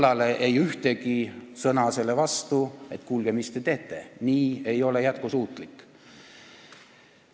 ... kallale, ei tulnud ühtegi sõna selle vastu, et kuulge, mis te teete, see ei ole jätkusuutlik.